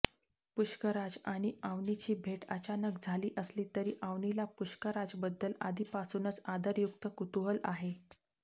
पुष्कराज आणि अवनीची भेट अचानक झाली असली तरी अवनीला पुष्कराजबद्दल आधीपासूनच आदरयुक्त कुतुहूल आहे